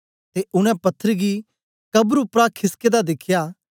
ते उनै पत्थर गी कब्र उपरा खिसके दा दिखया